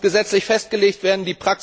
Das muss gesetzlich festgelegt werden.